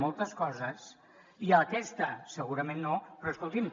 moltes coses i aquesta segurament no però escolti’m